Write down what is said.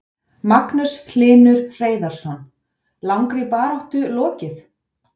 Magnús Hlynur Hreiðarsson: Langri baráttu lokið?